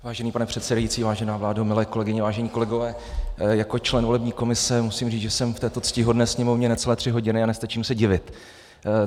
Vážený pane předsedající, vážená vládo, milé kolegyně, vážení kolegové, jako člen volební komise musím říct, že jsem v této ctihodné Sněmovně necelé tři hodiny a nestačím se divit.